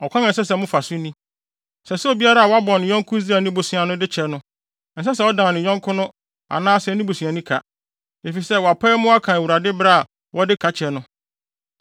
Ɔkwan a ɛsɛ sɛ mofa so ni: Ɛsɛ sɛ obiara a wabɔ ne yɔnko Israelni bosea no, de kyɛ no. Ɛnsɛ sɛ ɔdan ne yɔnko no anaa ne busuani ka, efisɛ wɔapae mu aka Awurade bere a wɔde ka kyɛ no.